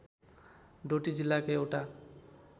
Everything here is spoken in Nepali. डोटी जिल्लाको एउटा